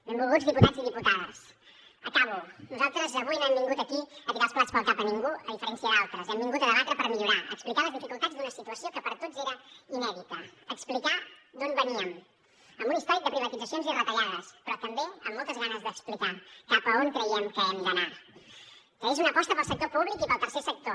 benvolguts diputats i diputades acabo nosaltres avui no hem vingut aquí a tirar els plats pel cap a ningú a diferència d’altres hem vingut a debatre per millorar a explicar les dificultats d’una situació que per a tots era inèdita a explicar d’on veníem amb un històric de privatitzacions i retallades però també amb moltes ganes d’explicar cap a on creiem que hem d’anar que és una aposta pel sector públic i pel tercer sector